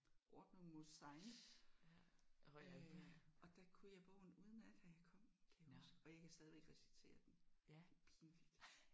Ordnung muss sein. Og der kunne jeg bogen udenad da jeg kom kan jeg huske og jeg kan stadigvæk recitere den. Det er pinligt!